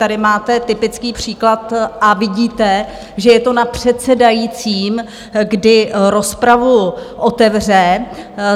Tady máte typický příklad a vidíte, že je to na předsedajícím, kdy rozpravu otevře.